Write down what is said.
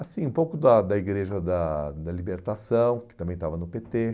Assim, um pouco da da Igreja da da Libertação, que também estava no pê tê.